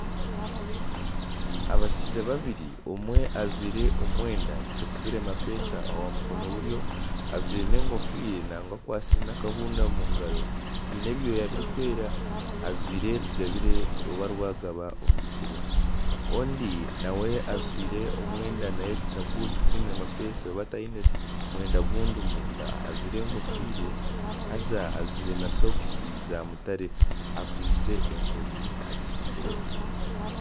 Abashaija babiri omwe ajwire omwenda gutasibire mapesha aha mukono gwa buryo. Ajwire n'enkofiira nangwa akwasire naakahunda omu ngaro keine ebyoya birikwera. ajwire rugabire omu bigyere. Ondi nawe ajwire omwenda nagwe tigwine mapesha oba ayine ogundi mwenda omunda ajwire enkofiire haza ajwire na sokisi za mutare akwiste enkoni agitsimbire ahansi.